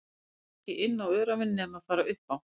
Og það sást ekkert inn á öræfin nema fara upp á